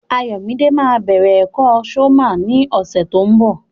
Ayọ̀mídé ma bẹ̀rẹ̀ ẹ̀kọ́ sọ́mà ní ọ̀sẹ̀ tó ń bọ̀.